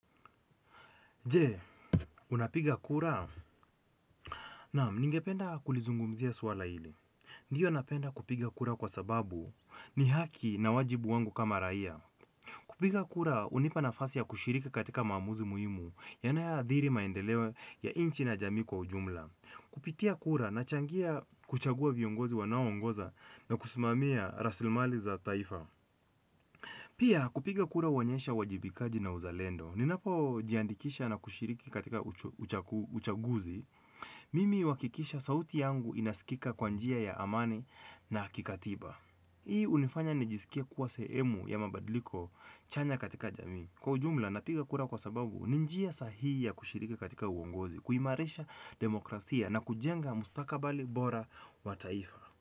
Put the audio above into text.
Je, unapiga kura? Naam, ningependa kulizungumzia swala hili. Ndiyo napenda kupiga kura kwa sababu ni haki na wajibu wangu kama raia. Kupiga kura, hunipa nafasi ya kushiriki katika maamuzi muhimu yanayoadhiri maendeleo ya inchi na jamii kwa ujumla. Kupitia kura, nachangia kuchagua viongozi wanaoongoza na kusimamia rasilmali za taifa. Pia, kupiga kura huonyesha uwajibikaji na uzalendo. Ninapojiandikisha na kushiriki katika uchaguzi mimi huhakikisha sauti yangu inaskika kwa njia ya amani na kikatiba hii hunifanya nijiskie kuwa sehemu ya mabadiliko chanya katika jamii kwa ujumla, napiga kura kwa sababu ni njia sahihi ya kushiriki katika uongozi kuimarisha na kujenga mustakabali bora wa taifa.